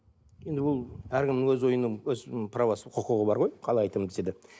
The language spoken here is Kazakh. енді ол әркімнің өз ойының өз правосы құқығы бар ғой қалай айтамын десе де